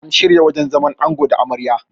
an shirya wajen zaman ango da Amarya